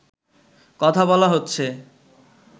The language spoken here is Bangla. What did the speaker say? কথা বলা হচ্ছে